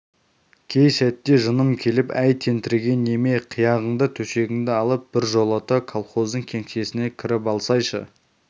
кей сәтте жыным келіп әй тентіреген неме қияғыңды төсегіңді алып біржолата колхоздың кеңсесіне кіріп алсайшы